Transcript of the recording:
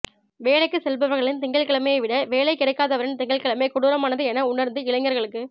வேலைக்கு செல்பவர்களின் திங்கள் கிழமையை விட வேலை கிடைக்காதவனின் திங்கள் கிழமை கொடூரமானது என உணர்ந்து இளைஞர்களுக்கு